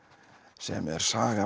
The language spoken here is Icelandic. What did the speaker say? sem er saga